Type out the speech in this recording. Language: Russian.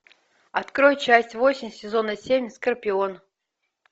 открой часть восемь сезона семь скорпион